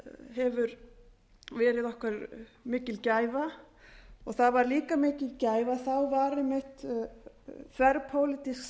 hefur verið okkur mikil gæfa og það var líka mikil gæfa að það var einmitt þverpólitísk